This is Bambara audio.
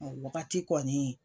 O Wagati kɔni.